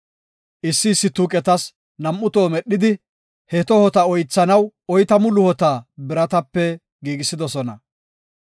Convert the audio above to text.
Issi issi tuuqetas nam7u toho medhidi, he tohota oythanaw oytamu luhota biratape giigisidosona.